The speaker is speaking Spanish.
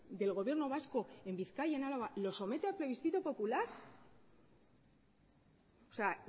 del gobierno vasco en bizkaia en álava los somete a plebiscito popular o sea